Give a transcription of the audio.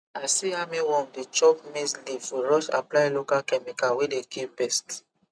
i see armyworm dey chop maize leaf we rush apply local chemical wey dey kil pest